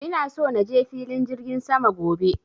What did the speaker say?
ina so naje filin jirgin sama gobe